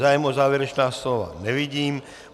Zájem o závěrečná slova nevidím.